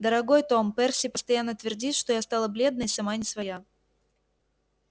дорогой том перси постоянно твердит что я стала бледная и сама не своя